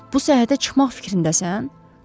Bu səyahətə çıxmaq fikrindəsən?